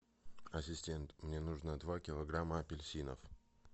ассистент мне нужно два килограмма апельсинов